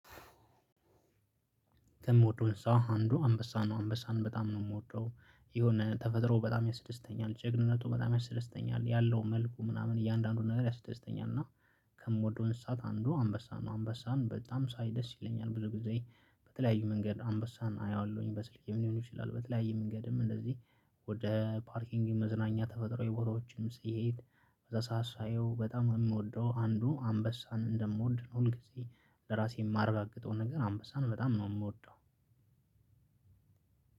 ከምወደው እንሰሳ አንዱ አንበሳ ነው አንበሳን በጣም ነው የምወደው የሆነ ተፈጥሮ በጣም ያስደስተኛል ጀግንነቱ በጣም ያስደስተኛል ያለው መልኩ ምናምን እያንዳንዱን ነገር ያስደስተኛል። እና ከምወደውን እሳት አንዱ አንበሳ ነው አንበሳን በጣም ሳይ ደስ ይለኛል። ብዙ ጊዜ በተለያዩ መንገድ አንበሳን አያለሁኝ በስልክ ሊሆን ይችላል። በተለያዩ መንገድም እንደዚህ ወደ ፓርኪንግ መዝናኛ ተፈጥሮ የቦሮዎችንም ስሄድ በዛ ሰዓት ሳየው በጣም የምወደው አንዱ አንበሳን እንደምወድ ሁልጊዜ ለራሴ የማረጋግጠውን ነገር አንበሳ ነው። በጣም ነው የምወደው።